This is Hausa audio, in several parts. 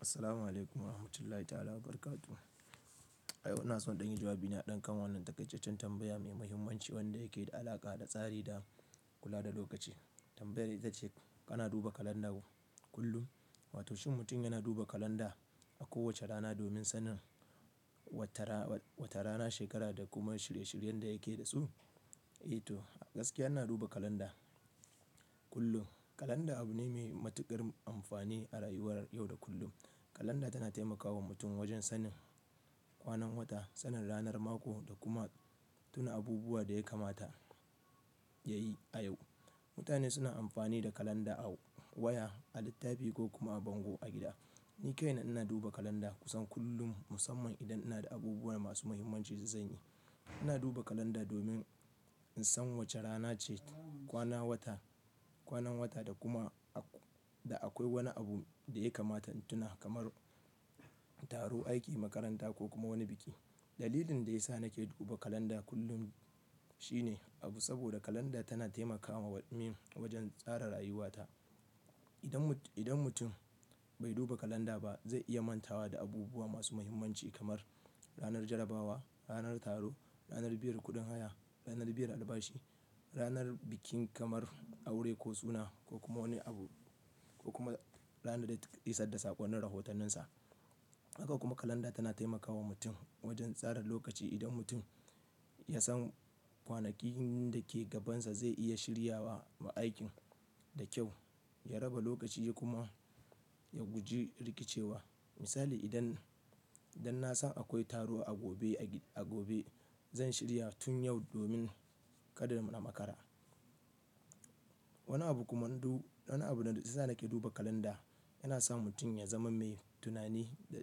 Assalamu'alaikum warahmatullahi ta'ala barakatu. Ai, ina so in ɗan yi jawabi na haɗin kan wannan taƙaitaccen tambaya mai muhimmanci wanda yake da alaƙa da tsari da kula da lokaci. Tambayar ita ce, kana duba kalanda kullum? Wato shin mutum yana duba kalanda a kowace rana domin sanin wata rana, shekara da kuma shirye-shiryen da yake da su? Eh to, gaskiya ina duba kalanda kullum. Kalanda abu ne mai matuƙar amfani a rayuwar yau da kullum. Kalanda tana taimakawa mutum wajen sanin kwanan wata, sanin ranar mako da kuma tuna abubuwa da ya kamata ya yi a yau. Mutane suna amfani da kalanda a waya, a littafi ko kuma a bango a gida. Ni kaina ina duba kalanda kusan kullum musamman idan ina da abubuwa masu muhimmanci za su zanyi. Ina duba kalanda domin in san wace rana ce, kwana wata, kwanan wata da kuma da akwai wani abu da ya kamata in tuna kamar taro, aiki, makaranta ko kuma wani biki. Dalilin da ya sa nake duba kalanda kullum shine abu saboda kalanda tana taimakawa min wajen tsara rayuwata. Idan mutum bai duba kalanda ba zai iya mantawa da abubuwa masu muhimmanci kamar ranar jarabawa, ranar taro, ranar biyan kuɗin haya, ranar biyan albashi, ranar bikin kamar aure ko suna ko kuma wani abu ko kuma ranar da ya ƙi sadasa ƙwanne rahotanninsa. Haka kuma kalanda tana taimakawa mutum wajen tsara lokaci. Idan mutum ya san kwanakin da ke gabansa zai iya shirya wa ma'aikin da kyau, ya raba lokaci ya kuma ya guji rikicewa. Misali, idan, idan na san akwai taro a gobe, a gobe, zan shirya tun yau domin kada in makara. Wani abu kuma du-- wani abun da ita sake duba kalanda yana sa mutum ya zama mai tunani da,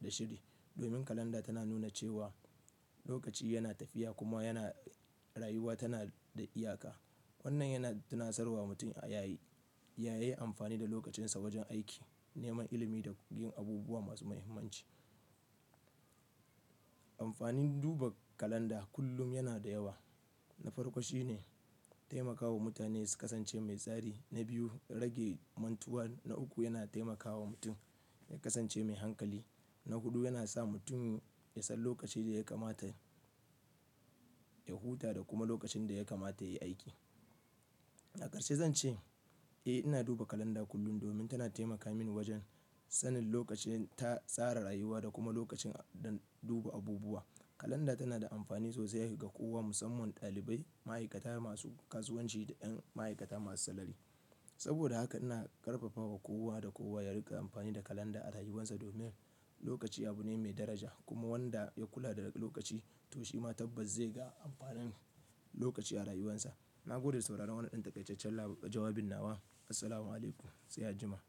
da shiri. Domin kalanda tana nuna cewa lokaci yana tafiya kuma yana, rayuwa tana da iyaka. Wannan yana tunatsarwa mutum a yayi, ya yi amfani da lokacinsa wajen aiki, neman ilimi da yin abubuwa masu muhimmanci. Amfanin duba kalanda kullum yana da yawa. Na farko shi ne taimakawa mutane su kasance mai tsari. Na biyu, rage mantuwa. Na uku, yana taimakawa mutum ya kasance mai hankali. Na hudu, yana sa mutum ya san lokacin da ya kamata ya huta da kuma lokacin da ya kamata ya yi aiki. Akarshe zan ce, eh ina duba kalanda kullum domin tana taimaka mini wajen sanin lokacin ta tsara rayuwa da kuma lokacin dan duba abubuwa. Kalanda tana da amfani sosai ga kowa musamman ɗalibai, ma'aikata masu kasuwanci da 'yan ma'aikata masu salari. Saboda haka ina ƙarfafawa kowa da kowa ya riƙa amfani da kalanda a rayuwarsa domin lokaci abu ne mai daraja kuma wanda ya kula da lokaci to shi ma tabbas zai ga amfanin lokaci a rayuwarsa. Na gode da sauraron wannan ɗan taƙaitaccen jawabin nawa. Assalamu'alaikum. Sai a juma'a.